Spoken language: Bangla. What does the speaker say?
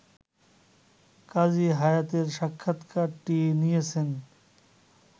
কাজী হায়াতের সাক্ষাৎকারটি নিয়েছেন